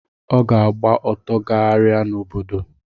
Ọ ga-agba ọtọ gagharia n’obodo